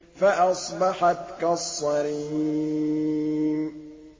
فَأَصْبَحَتْ كَالصَّرِيمِ